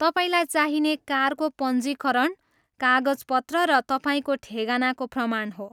तपाईँलाई चाहिने कारको पञ्जीकरण कागजपत्र र तपाईँको ठेगानाको प्रमाण हो।